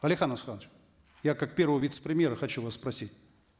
алихан асханович я как первого вице премьера хочу вас спросить